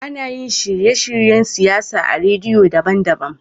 Anayin shirye shiryen siyawa a radio daban daban